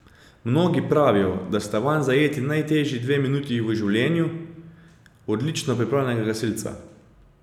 Mnogi pravijo, da sta vanj zajeti najtežji dve minuti v življenju odlično pripravljenega gasilca.